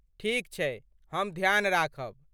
ठीक छैक, हम ध्यान राखब।